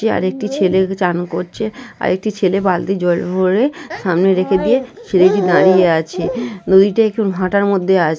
আরেকটি ছেলে চান করছে আরেকটি ছেলে বালতি জল ভরে সামনে রেখে দিয়ে ছেলেটি দাঁড়িয়ে আছে নদীতে একটু ভাটার মধ্যে আছে।